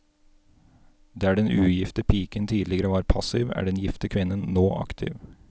Der den ugifte piken tidligere var passiv er den gifte kvinnen nå aktiv.